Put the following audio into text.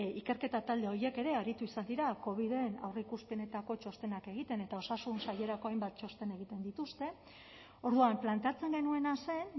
ikerketa talde horiek ere aritu izan dira coviden aurreikuspenetako txostenak egiten eta osasun sailerako hainbat txosten egiten dituzte orduan planteatzen genuena zen